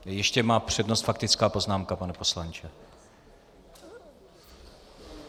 Ještě má přednost faktická poznámka, pane poslanče.